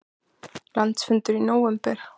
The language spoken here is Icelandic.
Landsfundur í nóvember